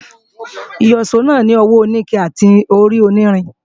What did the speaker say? Ìyíṣòó náà ní ọwọ́ oníke àti orí onírin